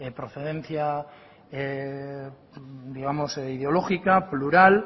procedencia digamos ideológica plural